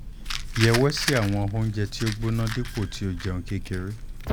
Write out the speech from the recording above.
yẹwẹsi awọn ounjẹ ti o gbona dipo ti o jẹun kekere